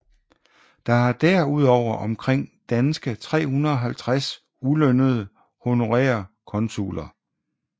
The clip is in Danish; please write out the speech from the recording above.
Der er derudover omkring danske 350 ulønnede honorære konsuler